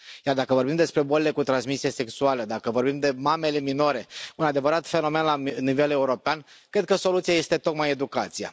Iar dacă vorbim despre bolile cu transmisie sexuală, dacă vorbim de mamele minore un adevărat fenomen la nivel european cred că soluția este tocmai educația.